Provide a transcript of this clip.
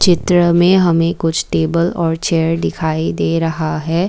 चित्र में हमें कुछ टेबल और चेयर दिखाई दे रहा है।